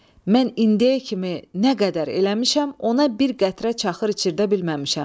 Mən indiyə kimi nə qədər eləmişəm, ona bir qətrə çaxır içirdə bilməmişəm.